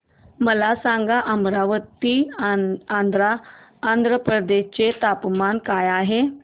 मला सांगा अमरावती आंध्र प्रदेश चे तापमान काय आहे